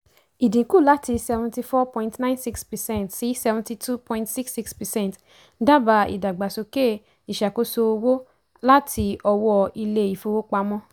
ìdínkù láti seventy four point nine six percent sí seventy two point six six percent dábàá ìdàgbàsókè ìṣàkóso owó láti ọwọ́ ilé-ìfowópamọ́.